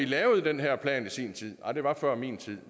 lavede den her plan i sin tid og det var før min tid